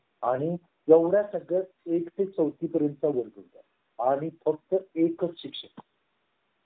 आणि एवढ्या सगळ्या एक ते चौथी पर्यंत बोलतो आणि फक्त एकच शिक्षक